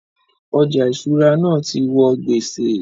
Ọjà ìṣúra náà ti wọ gbèsè